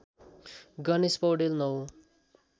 Ganesh Paudel ९